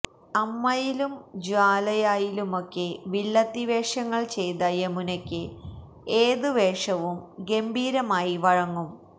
അമ്മയിലും ജ്വാലയായിലുമൊക്കെ വില്ലത്തി വേഷങ്ങള് ചെയ്ത യമുനയ്ക്ക് ഏത് വേഷവും ഗംഭീരമായി വഴങ്ങും